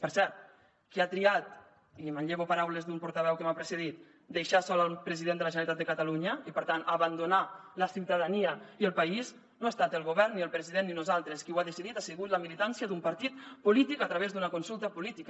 per cert qui ha triat i manllevo paraules d’un portaveu que m’ha precedit deixar sol el president de la generalitat de catalunya i per tant abandonar la ciutadania i el país no ha estat el govern ni el president ni nosaltres qui ho ha decidit ha sigut la militància d’un partit polític a través d’una consulta política